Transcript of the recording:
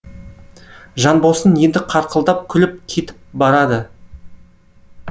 жанбосын енді қарқылдап күліп кетіп барады